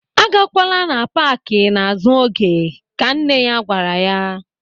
"A gakwala na paaki n'azụ oge", Ka nne ya gwara ya.